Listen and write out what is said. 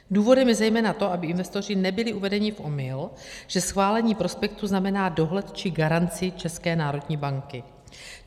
Důvodem je zejména to, aby investoři nebyli uvedeni v omyl, že schválení prospektu znamená dohled či garanci České národní banky.